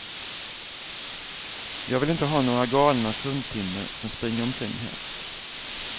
Jag vill inte ha några galna fruntimmer som springer omkring här.